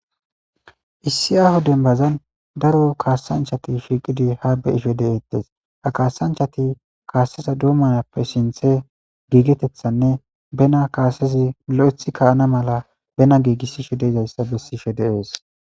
Issi aho denbazan daro kaasanchati shiiqidi ha beisho de'eettes ha kaasanchati kaaseza duumanappe sinthe giigetethanne bena kaasezi lo'eth kaana mala bena giigissisho deizayssa bessisho deees.